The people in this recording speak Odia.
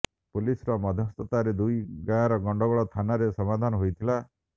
ପୁଲିସର ମଧ୍ୟସ୍ଥତାରେ ଦୁଇ ଗାଁର ଗଣ୍ଡଗୋଳ ଥାନାରେ ସମାଧାନ ହୋଇଥିଲା